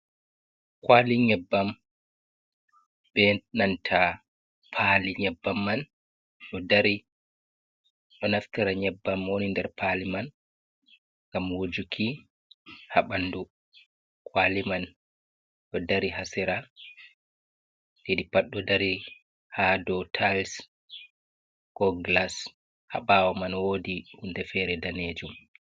Kwali nyebbam be nanta paali nyebbam man ɗo dari ɗo naftira nyebbam woni nder paali man ngam wujuki ha bandu, kwali man ɗo dari ha sera, ɗiɗi pat ɗo dari ha dou tais ko glas ha baawo man wodi hundei feere danejum.